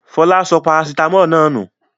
Fọlá sọ parasítámọ̀ náà nù.